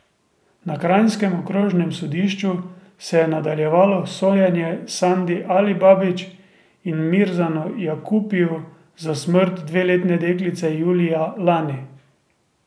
Na kranjskem okrožnem sodišču se je nadaljevalo sojenje Sandi Alibabić in Mirzanu Jakupiju za smrt dveletne deklice julija lani.